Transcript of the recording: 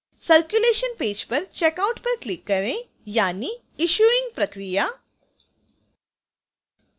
circulation page पर checkout पर click करें यानि issuing प्रक्रिया